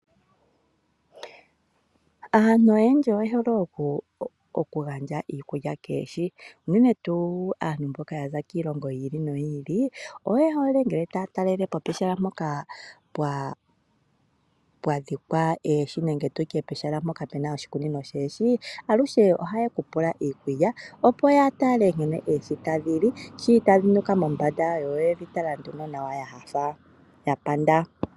Aantu oyendji oye hole okugandja iikulya koohi. Unene tuu aantu mboka ya za kiilongo yi ili noyi ili. Oye hole ngele taya talele po pehala mpoka pwa dhikwa uundama woohi nenge tu tye pehala mpoka pu na oshikunino shoohi aluhe ohaye ku umbu iikulya opo ya tale nkene oohi tadhi li. Shi tadhi nuka mombanda yo oyedhi tala nawa nduno yanyanyukwa ya panda.